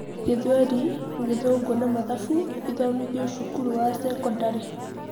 gĩthweri, gĩthũngũ na mathabu ithomithio cukuru wa cekondarĩ